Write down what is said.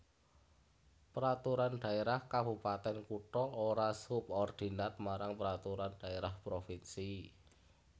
Peraturan Dhaérah Kabupatèn Kutha ora subordinat marang Peraturan Dhaérah Provinsi